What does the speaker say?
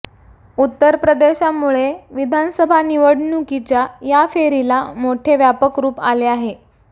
उत्तर प्रदेशामुळे विधानसभा निवडणुकीच्या या फेरीला मोठे व्यापक रूप आले आहे